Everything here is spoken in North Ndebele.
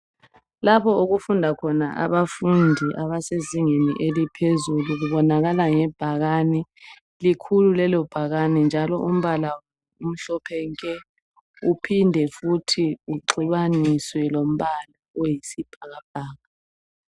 Labo okufunda khona abafundi bemfundo yaphezulu kubonakala ngebhakana. Likhulu lelo bhakana njalo umbala umhlophe nke uphinde futhi uxubaniswe lombala oyisibhakabhaka.